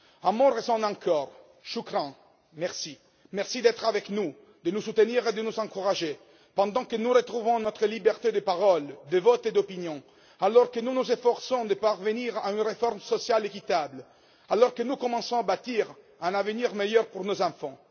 Un mot résonne encore choukran merci. Merci d'être avec nous, de nous soutenir et de nous encourager pendant que nous retrouvons notre liberté de parole, de vote et d'opinion, alors que nous nous efforçons de parvenir à une réforme sociale équitable, que nous commençons à bâtir un avenir meilleur pour nos enfants.